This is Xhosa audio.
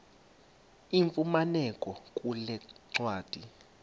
ifumaneka kule ncwadi